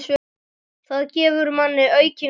Það gefur manni aukinn kraft.